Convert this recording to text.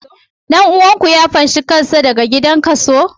Dan uwanku ya fashe kansa daga gidan gizo?